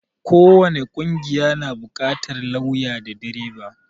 ko wani ƙungiya na buƙatar lauya da direba